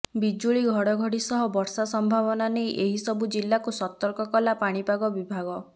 ବିଜୁଳି ଘଡ଼ଘଡ଼ି ସହ ବର୍ଷା ସମ୍ଭାବନା ନେଇ ଏହି ସବୁ ଜିଲ୍ଲାକୁ ସତର୍କ କଲା ପାଣିପାଗ ବିଭାଗ